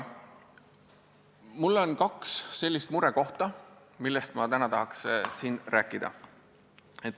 Mul on kaks muret, millest ma täna tahan siin rääkida.